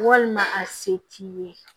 Walima a se t'i ye